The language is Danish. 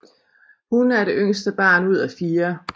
Hun er det yngste barn ud af fire